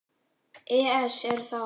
ES Er það?